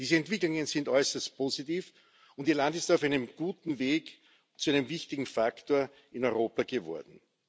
Diese Entwicklungen sind äußerst positiv, und Ihr Land ist auf einem guten Weg zu einem wichtigen Faktor in Europa geworden.